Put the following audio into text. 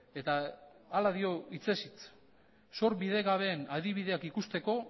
eta hala dio hitzez hitz zor bidegabeen adibideak ikusteko